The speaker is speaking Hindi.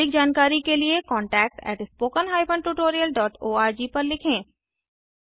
अधिक जानकारी के लिए contactspoken tutorialorg पर लिखें